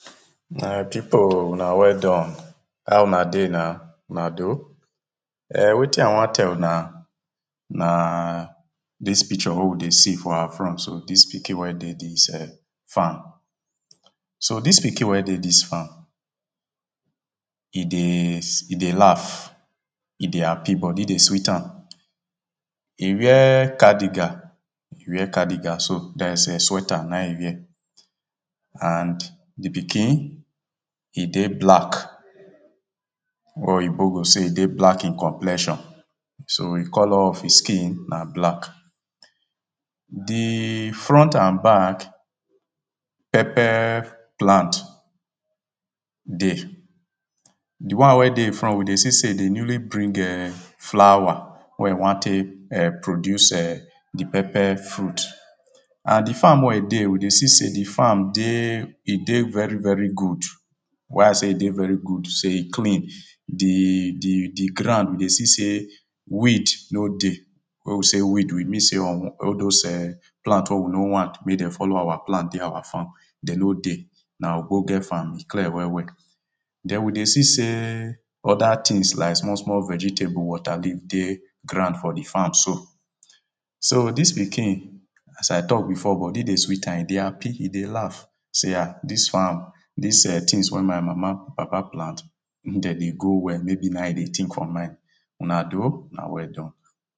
my pipo una well done, how una dey na, una doh. err wetin i wan tell una naa, dis picture wey we dey see for awa front so, dis pikin wey dey dis err farm. so dis pikin wey dey dis farm, e deeyy, e dey laugh, e dey happy body dey sweet am. e wear cardigan, e wear cardigan so, dats[um]sweater na e wear, and the pikin, e dey black, wey oyibo go sey e dey black in complexion, so e colour of e skin na black. theee front and back, pepper plant dey, the one wey dey e front we see sey e dey newly bring ehn, flower, wey e wan tek err produce err, the pepper fruit, and the farm wey e dey, we dey see sey the farm dey, e dey very good. why i sey e dey very good, sey e clean, the, the, the ground we dey see sey weed no dey, wen we say weed, we mean sey unwan, all dose err plant wey we no want wey de follow awa plant dey awa farm, de no dey, na ogbonge farm, e clear well well. den we dey see sey, other tings like small small vegetable, water leaf dey ground for the farm so. so dis pikin, as i tok before, body dey sweet am, e dey happy, e dey laugh, see am, dis farm, dis[um]tings wey my mama and papa plant, mek de dey grow well, maybe na e dey think for mind. una doh, una welldone.